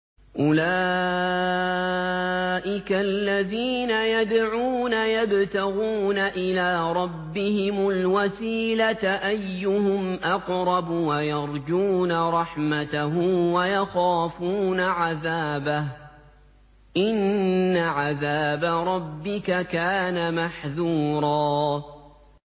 أُولَٰئِكَ الَّذِينَ يَدْعُونَ يَبْتَغُونَ إِلَىٰ رَبِّهِمُ الْوَسِيلَةَ أَيُّهُمْ أَقْرَبُ وَيَرْجُونَ رَحْمَتَهُ وَيَخَافُونَ عَذَابَهُ ۚ إِنَّ عَذَابَ رَبِّكَ كَانَ مَحْذُورًا